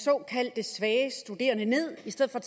såkaldt svage studerende ned i stedet for